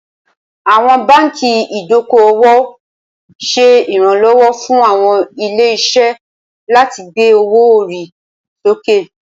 Awọn banki idoko-owo ṣe iranlọwọ fun awọn ile-iṣẹ lati gbe owo-ori soke.